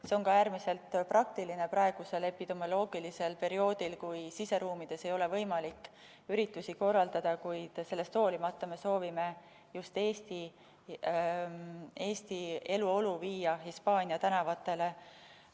See on ka äärmiselt praktiline praegusel epidemioloogilisel perioodil, kui siseruumides ei ole võimalik üritusi korraldada, kuid sellest hoolimata me soovime just Eesti eluolu viia Hispaania tänavatele.